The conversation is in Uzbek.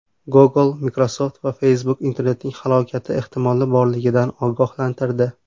Google, Microsoft va Facebook internetning halokati ehtimoli borligidan ogohlantirdi.